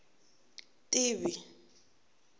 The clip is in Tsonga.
tivi